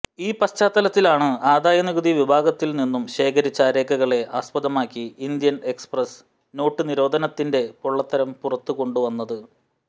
ഈ പശ്ചാത്തലത്തിലാണ് ആദായനികുതി വിഭാഗത്തില് നിന്നും ശേഖരിച്ച രേഖകളെ ആസ്പദമാക്കി ഇന്ത്യന് എക്സ്പ്രസ്സ്് നോട്ടുനിരോധനത്തിന്റെ പൊള്ളത്തരം പുറത്തുകൊണ്ടുവന്നത്